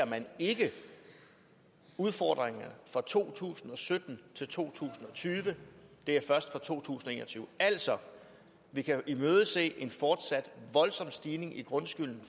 man ikke udfordringerne fra to tusind og sytten til to tusind og tyve det er først fra to tusind og en og tyve altså vi kan imødese en fortsat voldsom stigning i grundskylden